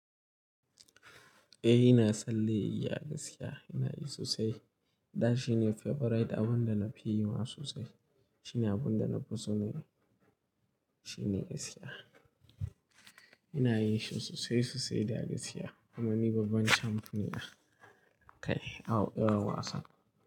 Eh ina tsallen igiya, ina yi sosai. Da shi ne favorite abin da na fi yi ma sosai. Shi ne abin da na fi so ne. Shi ne isiya. Ina yin shi sosai sosai da igiya domin ni babban champion ne kai a irin wasan.